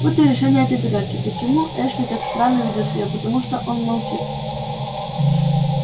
вот и решение этой загадки почему эшли так странно ведёт себя потому что он молчит